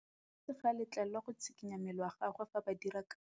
Modise ga a letlelelwa go tshikinya mmele wa gagwe fa ba dira karô.